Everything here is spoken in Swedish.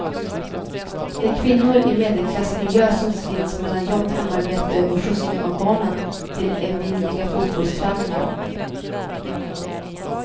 De kvinnor i medelklassmiljö som slits mellan jobb, hemarbete och skjutsning av barnen till evinnerliga fotbollsträningar.